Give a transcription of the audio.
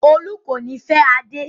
Olú kò ní fẹ́ Adé.